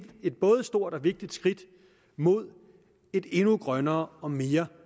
både stort og vigtigt skridt mod et endnu grønnere og mere